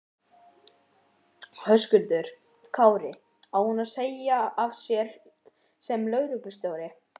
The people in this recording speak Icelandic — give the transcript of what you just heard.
Höskuldur Kári: Á hún að segja af sér sem lögreglustjóri?